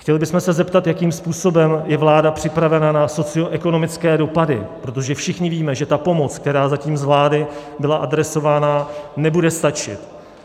Chtěli bychom se zeptat, jakým způsobem je vláda připravena na socioekonomické dopady, protože všichni víme, že ta pomoc, která zatím z vlády byla adresována, nebude stačit.